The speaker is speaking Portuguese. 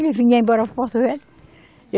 Vinha embora para Porto Velho.